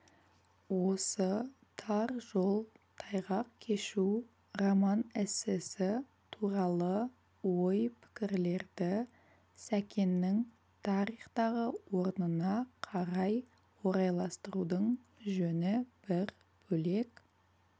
осы тар жол тайғақ кешу роман-эссесі туралы ой-пікірлерді сәкеннің тарихтағы орнына қарай орайластырудың жөні бір бөлек